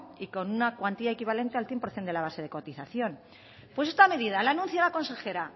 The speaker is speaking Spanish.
y con una cuantía equivalente al cien por ciento de la base de cotización pues esta medida la anuncia la consejera